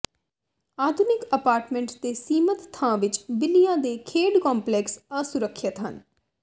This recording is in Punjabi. ਆਧੁਨਿਕ ਅਪਾਰਟਮੇਂਟਸ ਦੇ ਸੀਮਤ ਥਾਂ ਵਿੱਚ ਬਿੱਲੀਆਂ ਦੇ ਖੇਡ ਕੰਪਲੈਕਸ ਅਸੁਰੱਖਿਅਤ ਹਨ